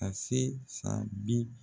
Ka se san bi